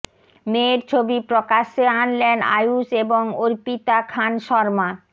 মেয়ের ছবি প্রকাশ্যে আনলেন আয়ূষ এবং অর্পিতা খান শর্মা